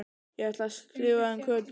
Ég ætla að skrifa um Kötu